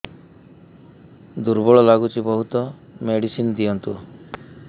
ଦୁର୍ବଳ ଲାଗୁଚି ବହୁତ ମେଡିସିନ ଦିଅନ୍ତୁ